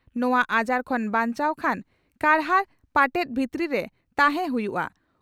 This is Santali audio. ᱱᱚᱣᱟ ᱟᱡᱟᱨ ᱠᱷᱚᱱ ᱵᱟᱧᱪᱟᱣ ᱠᱷᱟᱱ ᱠᱟᱨᱦᱟᱲ ᱯᱟᱴᱮᱫ ᱵᱷᱤᱛᱨᱤ ᱨᱮ ᱛᱟᱦᱮᱸ ᱦᱩᱭᱩᱜᱼᱟ ᱾